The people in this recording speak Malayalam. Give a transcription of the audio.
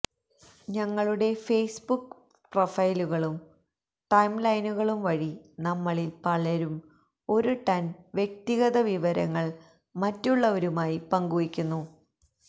ഞങ്ങളുടെ ഫേസ്ബുക്ക് പ്രൊഫൈലുകളും ടൈംലൈനുകളും വഴി നമ്മളിൽ പലരും ഒരു ടൺ വ്യക്തിഗത വിവരങ്ങൾ മറ്റുള്ളവരുമായി പങ്കുവയ്ക്കുന്നു